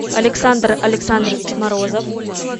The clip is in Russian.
александр александрович морозов